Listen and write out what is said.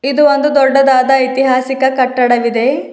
ಇದು ಒಂದು ದೊಡ್ಡದಾದ ಇತಿಹಾಸಿಕ ಕಟ್ಟಡವಿದೆ.